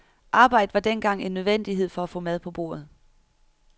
Arbejde var dengang en nødvendighed for at få mad på bordet.